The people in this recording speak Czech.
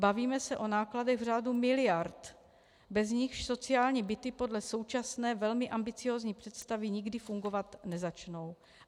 Bavíme se o nákladech v řádu miliard, bez nichž sociální byty podle současné, velmi ambiciózní představy nikdy fungovat nezačnou.